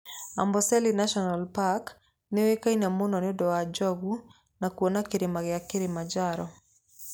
Amboseli National Park nĩ ũĩkaine mũno nĩ ũndũ wa njogu na kuona Kĩrĩma kĩa Kilimanjaro.